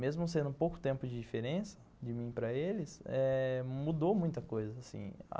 Mesmo sendo pouco tempo de diferença de mim para eles eh, mudou muita coisa, assim